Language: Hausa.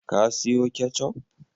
Ka siyo ketchup?